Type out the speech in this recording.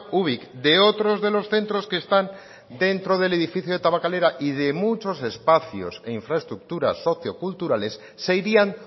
ubik de otros de los centros que están dentro del edificio de tabakalera y de muchos espacios e infraestructuras socioculturales se irían